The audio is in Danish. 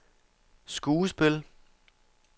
skuespil